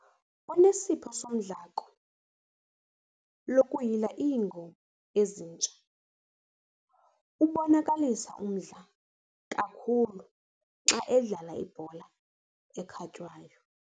Unesipho sodlamko lokuyila iingoma ezintsha. ubonakalisa umdla kakhulu xa edlala ibhola ekhatywayo